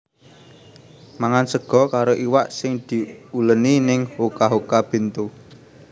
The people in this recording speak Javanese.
Mangan sego karo iwak sing diuleni ning Hoka Hoka Bento